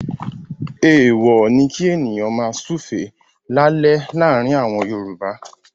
Èèwọ̀ ni kí ènìyàn máa súùfé lálẹ́ láàárin àwọn Yorùbá.